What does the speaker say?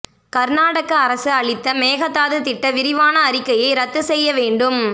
கர்நாடக அரசு அளித்த மேகதாது திட்ட விரிவான அறிக்கையை ரத்து செய்ய வேண்டும்